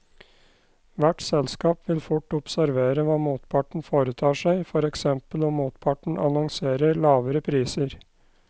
Hvert selskap vil fort observere hva motparten foretar seg, for eksempel om motparten annonserer lavere priser.